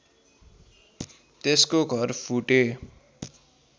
त्यसको घर फुटे